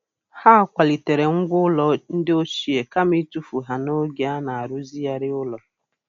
Ha kwalitere ngwá ụlọ ndị ochie kama ịtụfu ha n'oge a na-arụzigharị ụlọ.